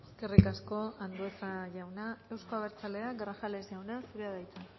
eskerrik asko andueza jauna euzko abertzaleak grajales jauna zurea da hitza